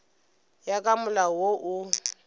ya ka molao wo o